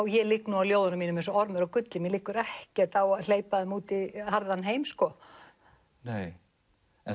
ég ligg nú á ljóðunum mínum eins og ormur á gulli mér liggur ekkert á að hleypa þeim út í harðan heim sko nei en